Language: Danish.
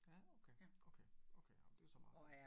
Ja okay okay okay ja men det så meget